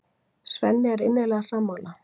Svenni er innilega sammála.